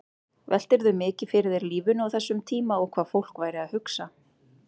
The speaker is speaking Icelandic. Veltirðu mikið fyrir þér lífinu á þessum tíma og hvað fólk væri að hugsa?